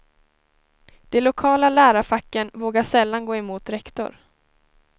De lokala lärarfacken vågar sällan gå emot rektor.